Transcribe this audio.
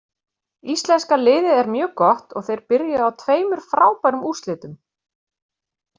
Íslenska liðið er mjög gott og þeir byrjuðu á tveimur frábærum úrslitum.